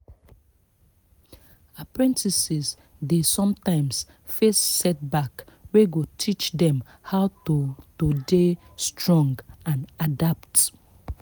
apprentices dey sometimes face setback wey go teach them how to to dey strong and adapt